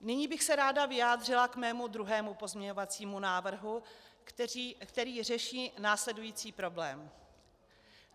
Nyní bych se ráda vyjádřila k svému druhému pozměňovacímu návrhu, který řeší následující problém.